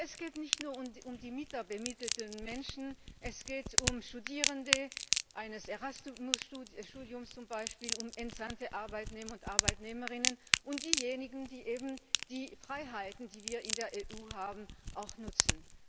Es geht nicht nur um die minderbemittelten Menschen, es geht um Studierende eines Erasmus Studiums zum Beispiel, um entsandte Arbeitnehmer und Arbeitnehmerinnen und um diejenigen, die eben die Freiheiten, die wir in der EU haben, auch nutzen.